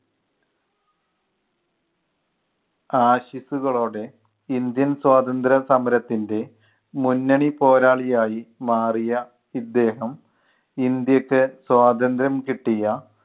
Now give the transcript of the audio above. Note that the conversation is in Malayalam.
ആശിസ്സുകളോടെ ഇന്ത്യൻ സ്വാതന്ത്ര്യ സമരത്തിൻ്റെ മുന്നണി പോരാളി ആയി മാറിയ ഇദ്ദേഹം ഇന്ത്യയ്ക്ക് സ്വാതന്ത്ര്യം കിട്ടിയ